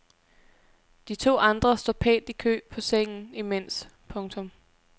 De to andre står pænt i kø på sengen imens. punktum